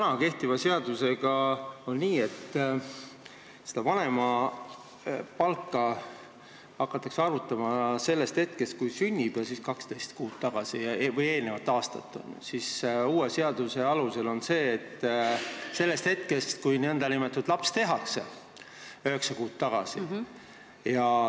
Kui kehtiva seaduse järgi on nii, et vanemapalka hakatakse arvutama sellest hetkest, kui laps sünnib, ja siis võetakse 12 kuud, aasta tagasi, siis uue seaduse järgi on nii, et arvutatakse sellest hetkest, kui laps n-ö tehakse, üheksa kuud tagasi.